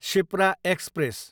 Shipra express